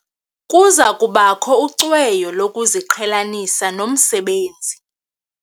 Kuza kubakho ucweyo lokuziqhelanisa nomsebenzi.